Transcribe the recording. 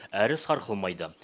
әрі сарқылмайды